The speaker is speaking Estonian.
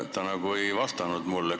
Ta nagu ei vastanud mulle.